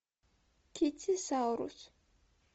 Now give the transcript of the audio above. китти саурус